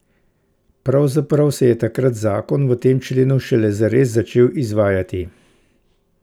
Pravzaprav se je takrat zakon v tem členu šele zares začel izvajati.